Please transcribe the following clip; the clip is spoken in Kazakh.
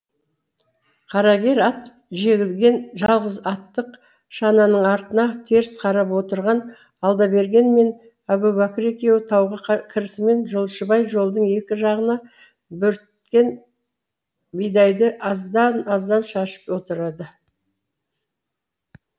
қарагер ат жегілген жалғыз аттық шананың артына теріс қарап отырған алдаберген мен әубәкір екеуі тауға кірісімен жолшыбай жолдың екі жағына бөрткен бидайды аздан аздан шашып отырады